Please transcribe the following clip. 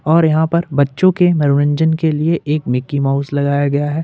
और यहां पर बच्चों के मनोरंजन के लिए एक मिकी माउस लगाया गया है।